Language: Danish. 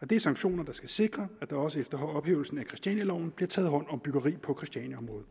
og det er sanktioner der skal sikre at der også efter ophævelsen af christianialoven bliver taget hånd om byggeri på christianiaområdet